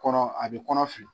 Kɔnɔ a bɛ kɔnɔ fin.